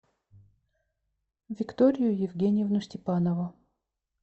викторию евгеньевну степанову